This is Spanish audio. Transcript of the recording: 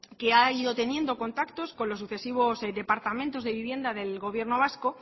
que ha ido teniendo contactos con los sucesivos departamentos de vivienda del gobierno vasco